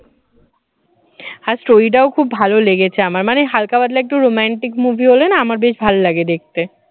আর story টাও খুব ভালো লেগেছে আমার মানে হালকা পাতলা একটু romantic movie হলে না আমার বেশ ভালো লাগে দেখতে